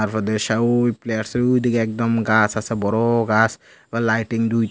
we প্লেয়ারসের উই দিকে একদম গাস আসে বড় গাস আবার লাইটিং দুইটা--